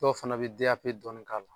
Dɔw fana bi dɔɔnin k'a la